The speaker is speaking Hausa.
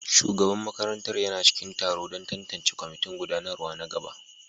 Shugaban makarantar yana cikin taro don tantance kwamitin gudanarwa na gaba